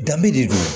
Danbe de don